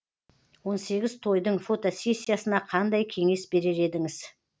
он сегіз тойдың фотосессиясына қандай кеңес берер едіңіз